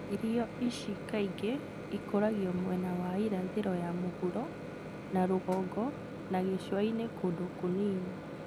Irio ici kaingĩ ikũragio mwena wa irathĩro ya mũhuro na rũgongo na gĩcũa-inĩ kũndũ kũnini